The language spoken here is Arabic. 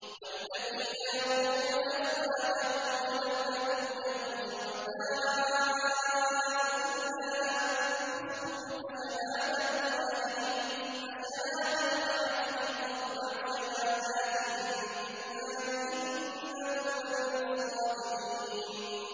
وَالَّذِينَ يَرْمُونَ أَزْوَاجَهُمْ وَلَمْ يَكُن لَّهُمْ شُهَدَاءُ إِلَّا أَنفُسُهُمْ فَشَهَادَةُ أَحَدِهِمْ أَرْبَعُ شَهَادَاتٍ بِاللَّهِ ۙ إِنَّهُ لَمِنَ الصَّادِقِينَ